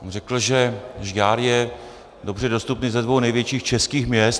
Řekl, že Žďár je dobře dostupný ze dvou největších českých měst.